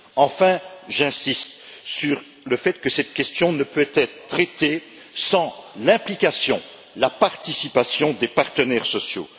Enfin, j'insiste sur le fait que cette question ne peut être traitée sans l'implication, la participation des partenaires sociaux.